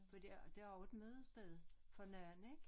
For det er det også et mødested for nogen ik